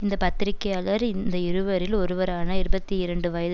இந்த பத்திரிகையாளர் இந்த இருவரில் ஒருவரான இருபத்தி இரண்டு வயது